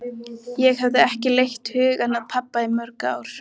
Ég hafði ekki leitt hugann að pabba í mörg ár.